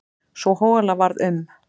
Sú hola varð um